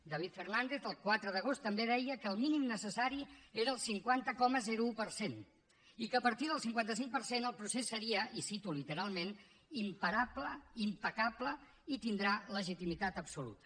david fernàndez el quatre d’agost també deia que el mínim necessari era el cinquanta coma un per cent i que a partir del cinquanta cinc per cent el procés seria i ho cito literalment imparable impecable i tindrà legitimitat absoluta